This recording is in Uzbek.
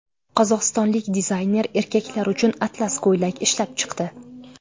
Qozog‘istonlik dizayner erkaklar uchun atlas ko‘ylak ishlab chiqdi.